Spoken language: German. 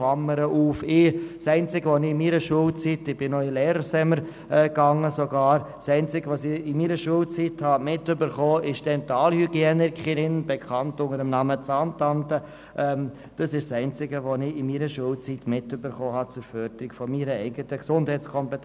Das einzige, was ich während meiner Schulzeit, zu der auch der Besuch des Lehrerseminars gehörte, in Sachen Förderung der Gesundheitskompetenz mitbekommen habe, war der Besuch der Dentalhygienikerin, bekannt unter dem Namen «Zahntante».